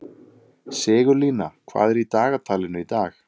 Sigurlína, hvað er í dagatalinu í dag?